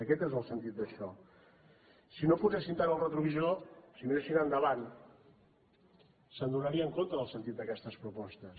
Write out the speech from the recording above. aquest és el sentit d’això si no posessin tant el retrovisor si miressin endavant s’adonarien del sentit d’aquestes propostes